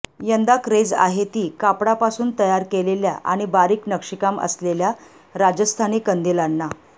यंदा क्रेझ आहे ती कापडापासून तयार केलेल्या आणि बारीक नक्षीकाम असलेल्या राजस्थानी कंदिलांना